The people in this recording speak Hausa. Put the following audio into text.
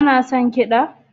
Kana son kiɗa?